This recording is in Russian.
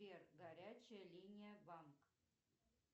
сбер горячая линия банк